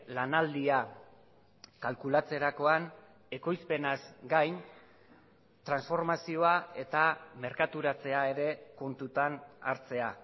lanaldia kalkulatzerakoan ekoizpenaz gain transformazioa eta merkaturatzea ere kontutan hartzea